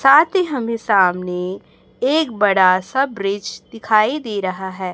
साथ ही हमें सामने एक बड़ा सा ब्रिज दिखाई दे रहा है।